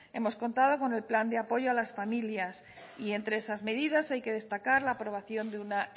hemos contado con el plan de apoyo a las familias y entre esas medidas hay que destacar la aprobación de una